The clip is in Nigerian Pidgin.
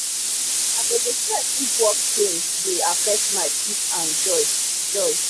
i go dey check if work change dey affect my peace and joy. joy.